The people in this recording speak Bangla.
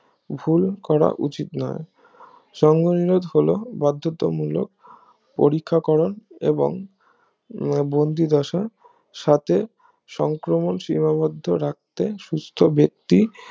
ভুল করা উচিত নয় সঙ্গ নিরোদ হলো বাদ্ধত মূলক পরিকরণ এবং আহ বন্দি দশা সাথে সংক্রমণ সীমাবদ্ধ রাখতে সুস্থ ব্যক্তি